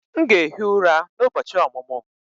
M ga-ehi ụra n'ụbọchị ọmụmụ m